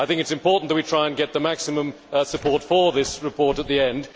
It is important that we try to get the maximum support for this report at the end.